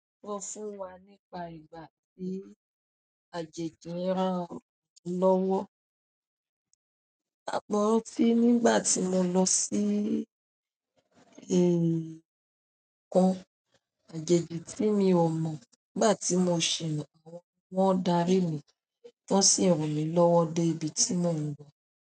Sọ fún wa nípa ìgbà tí àjèjì rán ọ lọ́wọ́. Àpọ̀rọ́ tí nígbà tí mo lọ sí ìkan àjèjì tí mi ò mọ̀, nígbà tí mo ṣìna wọn, wọ́n darí mi, wọ́n sì rán mi lọ́wọ́ dé ibi tí mò ń lọ̀.